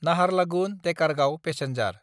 Naharlagun-Dekargaon passenger